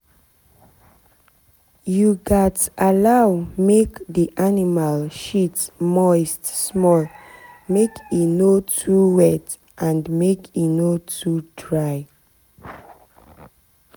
you gats allow make the animal shit moist small make e no too wet and make e no too dry.